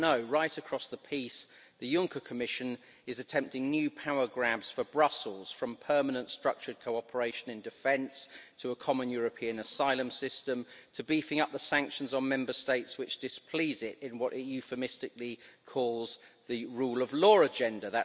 But no, right across the piece, the Juncker Commission is attempting new power grabs for Brussels, from permanent structured cooperation in defence to a common European asylum system, to beefing up the sanctions on Member States which displease it in what it euphemistically calls the rule of law agenda.